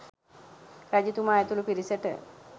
රජතුමා ඇතුළු පිරිසට